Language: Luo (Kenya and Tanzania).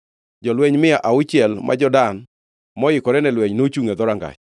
Jolweny mia auchiel ma jo-Dan moikore ne lweny nochungʼ e dhorangach.